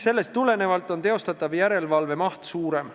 Sellest tulenevalt on teostatava järelevalve maht suurem.